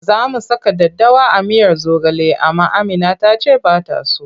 Za mu saka daddawa a miyar zogale amma Amina ta ce ba ta so.